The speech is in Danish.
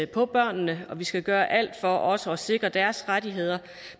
på børnene og vi skal gøre alt for også at sikre deres rettigheder